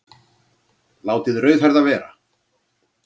Látið rauðhærða vera